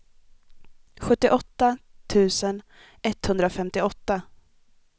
sjuttioåtta tusen etthundrafemtioåtta